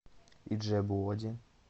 иджебу оде